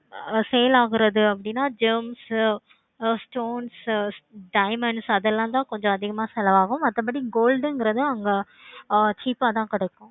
ஆஹ் sale ஆகிறது gems உ stones உ diamonds உ அது எல்லாம் தான் கொஞ்சம் அதிகமா செலவு ஆகும். மத்தபடி gold இங்கிறது ஆஹ் அங்க cheap அதான் கிடைக்கும்